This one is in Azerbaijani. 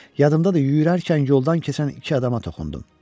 Yadımdadır, yüyürərkən yoldan keçən iki adama toxundum.